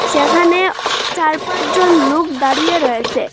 সেখানে চার পাঁচজন লোক দাঁড়িয়ে রয়েসে।